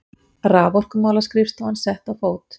Raforkumálaskrifstofan sett á fót.